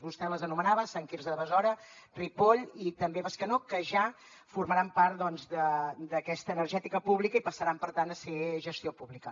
vostè les anomenava sant quirze de besora ripoll i també bescanó que ja formaran part d’aquesta energètica pública i passaran per tant a ser gestió pública